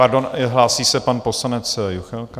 Pardon, hlásí se pan poslanec Juchelka.